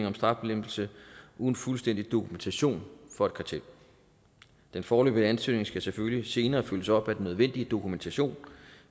om straflempelse uden fuldstændig dokumentation for et kartel den foreløbige ansøgning skal selvfølgelig senere følges op af den nødvendige dokumentation